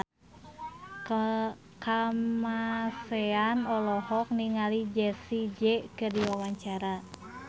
Kamasean olohok ningali Jessie J keur diwawancara